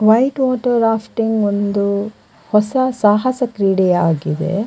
White water rafting ಒಂದು ಹೊಸ ಸಾಹಸ ಕ್ರೀಡೆಯಾಗಿದೆ .